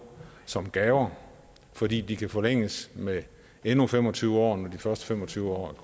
som gaver fordi de kan forlænges med endnu fem og tyve år når de første fem og tyve år